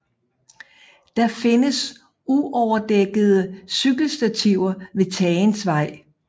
Der findes uoverdækkede cykelstativer ved Tagensvej